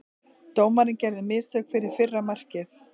Dómarinn gerði mistök fyrir fyrra markið.